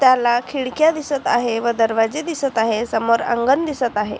त्याला खिडक्या दिसत आहे व दरवाजे दिसत आहे समोर अंगण दिसत आहे.